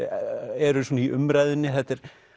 eru svona í umræðunni